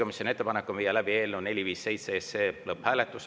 Juhtivkomisjoni ettepanek on viia läbi eelnõu 457 lõpphääletus.